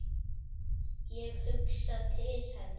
Ég hugsaði til hennar.